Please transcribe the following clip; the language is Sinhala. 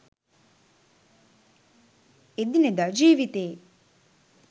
එදිනෙදා ජීවිතයේ